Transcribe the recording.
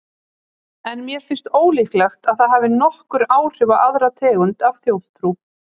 En mér finnst ólíklegt að það hafi nokkur áhrif á aðra tegund af þjóðtrú.